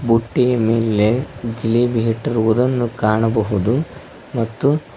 ಬುಟ್ಟಿಯ ಮೇಲೆ ಜಿಲೇಬಿ ಇತ್ತಿರುವುದನ್ನು ಕಾಣಬಹುದು ಮತ್ತು--